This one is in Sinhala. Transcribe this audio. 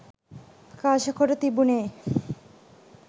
ප්‍රකාශකොට තිබුනේ